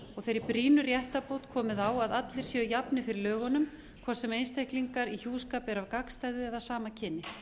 þeirri brýnu réttarbót komið á að allir séu jafnir fyrir lögunum hvort sem einstaklinga í hjúskap eru af gagnstæðu eða sama kyni